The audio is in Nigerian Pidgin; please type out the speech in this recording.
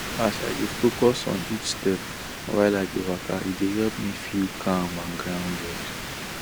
as i dey focus on each step while i dey waka e dey help me feel calm and grounded